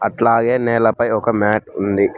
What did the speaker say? అట్లాగే నేలపై ఒక మ్యాట్ ఉంది.